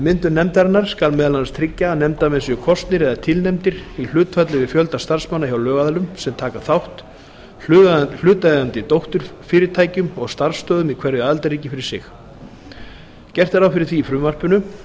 myndun nefndarinnar skal meðal annars tryggja að nefndarmenn séu kosnir eða tilnefndir í hlutfalli við fjölda starfsmanna hjá lögaðilunum sem taka þátt hlutaðeigandi dótturfyrirtækjum og starfsstöðvum í hverju aðildarríki fyrir sig gert er ráð fyrir því í